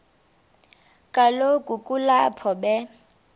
kaloku kulapho be